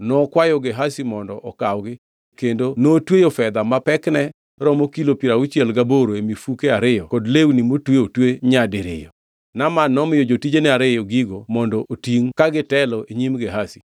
Nokwayo Gehazi mondo okawgi kendo notweyo fedha ma pekne romo kilo piero auchiel gaboro e mifuke ariyo kod lewni motwe otwe nyadiriyo. Naaman nomiyo jotijene ariyo gigo mondo otingʼ ka gitelo e nyim Gehazi.